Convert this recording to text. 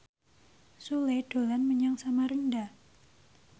Sule dolan menyang Samarinda